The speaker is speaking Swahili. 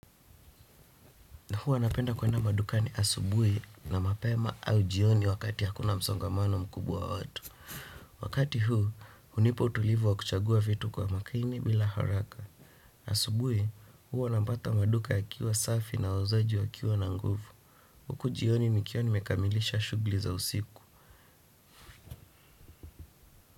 Na huwa napenda kwenda madukani asubuhi na mapema au jioni wakati hakuna msongamano mkubwa wa watu. Wakati huu hunipa utulivu wa kuchagua vitu kwa makini bila haraka. Asubuhi, huwa napata maduka yakiwa safi na wauzaji wakiwa na nguvu. Huku jioni nikiwa nimekamilisha shughuli za usiku.